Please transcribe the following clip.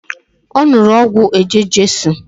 O nuru ogwu eje-jesu